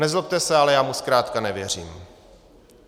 Nezlobte se, ale já mu zkrátka nevěřím.